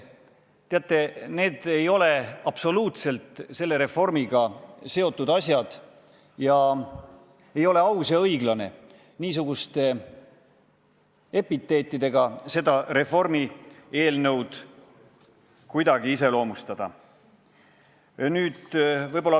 Teate, need ei ole absoluutselt selle reformiga seotud asjad ning ei ole aus ja õige niisuguste sõnadega seda reformieelnõu iseloomustada.